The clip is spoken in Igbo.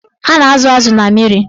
A na-azụ azụ na mmiri.